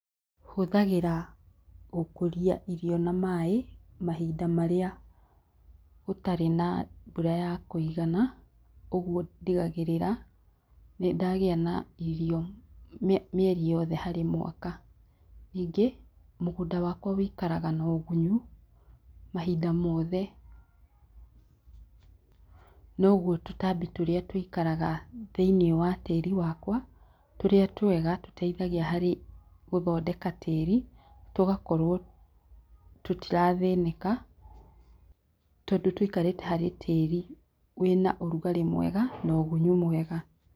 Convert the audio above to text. Hũthagĩra ũkũria irio na maĩ, mahinda marĩa gũtarĩ na mbura ya kũigana, ũguo ndigagĩrĩra nĩndagĩa na irio mie mieri yothe harĩ mwaka. Ningi, mũgũnda wakwa wĩikaraga na ũgunyu mahinda mothe, noguo tũtambi tũrĩa tũikaraga thĩinĩ wa tĩri wakwa, tũrĩa twega tũteithagia harĩ gũthondeka tĩri, tũgakorwo tũtirathĩnĩka, tondũ tũikarite harĩ tĩri wĩna ũrugarĩ mwega na ũgunyu mwega.